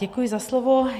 Děkuji za slovo.